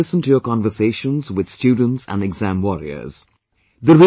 But I regularly listen to your conversations with students and exam warriors